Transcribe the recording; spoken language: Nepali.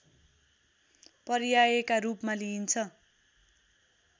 पर्यायका रूपमा लिइन्छ